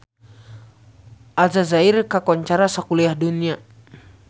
Aljazair kakoncara sakuliah dunya